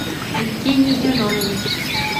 евгений зенонович